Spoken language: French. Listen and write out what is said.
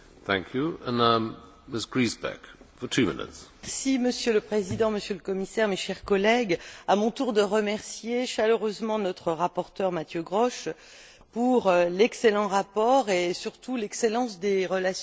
Monsieur le Président, Monsieur le Commissaire, mes chers collègues, je tiens, à mon tour, à remercier chaleureusement notre rapporteur, Mathieu Grosch, pour l'excellent rapport et surtout l'excellence des relations courtoises et efficaces de travail qui ont été les nôtres.